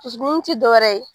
Fusukun t' dɔwɛrɛ ye